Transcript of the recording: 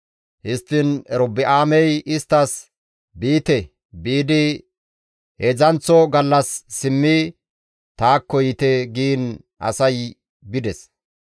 Histtiin Erobi7aamey isttas, «Biite; biidi heedzdzanththo gallas simmidi taakko yiite» giin asay bides.